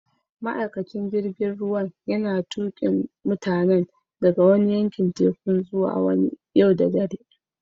Ma'aikacin jirigin ruwan yana tukin mutanin daga wani yankin tekun zuwa wani yau da dare.